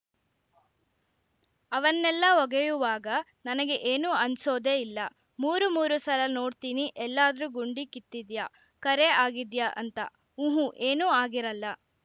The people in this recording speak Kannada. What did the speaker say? ಅವನ್ನೆಲ್ಲಾ ಒಗೆಯುವಾಗ ನನಗೆ ಏನೂ ಅನ್ಸೋದೆ ಇಲ್ಲ ಮೂರು ಮೂರು ಸಲ ನೋಡ್ತೀನಿ ಎಲ್ಲಾದ್ರೂ ಗುಂಡಿ ಕಿತ್ತಿದ್ಯಾ ಕರೆ ಆಗಿದ್ಯಾ ಅಂತ ಊಹೂ ಏನೂ ಆಗಿರಲ್ಲ